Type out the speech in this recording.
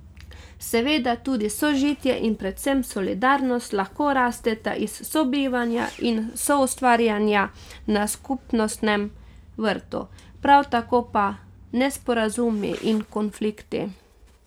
Seveda, tudi sožitje in predvsem solidarnost lahko rasteta iz sobivanja in soustvarjanja na skupnostnem vrtu, prav tako pa nesporazumi in konflikti.